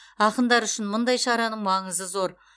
ақындар үшін мұндай шараның маңызы зор